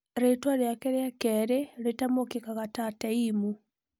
Rĩtwa rĩake rĩa kerĩ rĩtamũkĩkaga ta "teim".